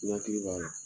N hakili b'a la